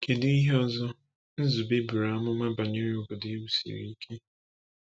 Kedu ihe ọzọ Nzube buru amụma banyere “obodo ewusiri ike”?